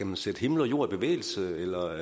man sætte himmel og jord i bevægelse eller